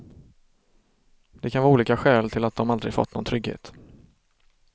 Det kan vara olika skäl till att de aldrig fått någon trygghet.